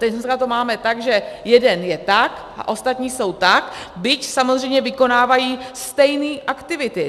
Teď to máme tak, že jeden je tak a ostatní jsou tak, byť samozřejmě vykonávají stejné aktivity.